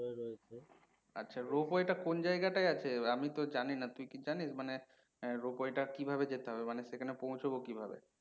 আচ্ছা, rope টা কোন জাইগাই আছে আমিতো জানিনা, তুই কি জানিস? মানে rope টা কিভাবে যেতে হবে মানে সেখানে পৌঁছবো কিভাবে?